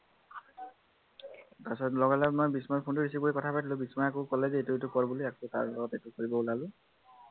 তাৰ পাছত লগালগ মই বিস্ময়ৰ phone টো receive কৰি কথা পাতিলো বিস্ময়ে আক কলে যে ইটো সিটো কৰ বুলি সেয়া আক তাৰ লগত practice কৰিব ওলালো